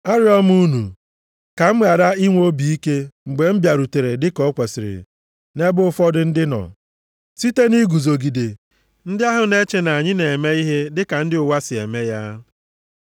Arịọ m unu, ka m ghara inwe obi ike mgbe m bịarutere dịka o kwesiri nʼebe ụfọdụ ndị nọ, site na iguzogide ndị ahụ na-eche na anyị na-eme ihe dị ka ndị ụwa si eme ya.